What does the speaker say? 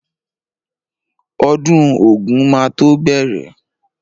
Ọdún ògún máa tó bẹ̀rẹ̀.